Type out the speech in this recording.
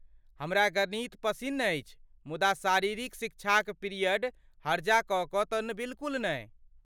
हमरा गणित पसिन्न अछि मुदा शारीरिक शिक्षाक पिरियड हर्जा कऽ कऽ तँ बिलकुल नहि।